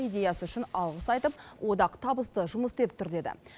идеясы үшін алғыс айтып одақ табысты жұмыс істеп тұр деді